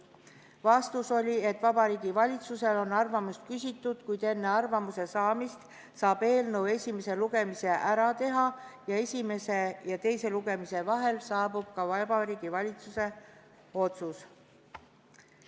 Vastus oli, et Vabariigi Valitsuselt on arvamust küsitud, kuid enne arvamuse saamist saab eelnõu esimese lugemise ära teha ning esimese ja teise lugemise vahel saabub ka Vabariigi Valitsuse otsus.